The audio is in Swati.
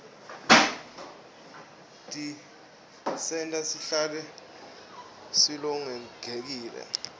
tisenta sihlale silolongekile